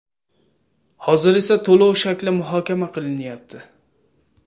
Hozir esa to‘lov shakli muhokama qilinyapti.